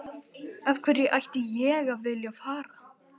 Af hverju ætti ég að vilja að fara?